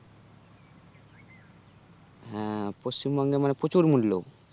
হ্যাঁ, পশ্চিমবঙ্গে মানে প্রচুর মূল্য